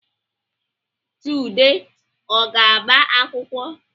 Chude ọ ga-agba akwụkwọ?